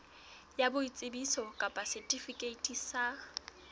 ya boitsebiso kapa setifikeiti sa